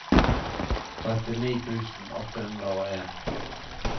trettini tusen åtte hundre og en